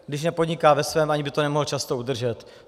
Když nepodniká ve svém, ani by to nemohl často udržet.